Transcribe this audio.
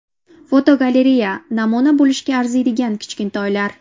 Fotogalereya: Namuna bo‘lishga arziydigan kichkintoylar.